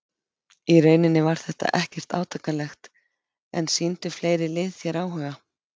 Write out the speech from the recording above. Í rauninni var þetta ekkert átakanlegt En sýndu fleiri lið þér áhuga?